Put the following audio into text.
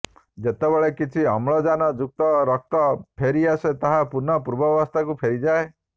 ଯେତେବେଳେ କିଛି ଅମ୍ଳଜାନ ଯୁକ୍ତ ରକ୍ତ ଫେରି ଆସେ ତାହା ପୁନଃ ପୂର୍ବାବସ୍ଥାକୁ ଫେରିଯାଏ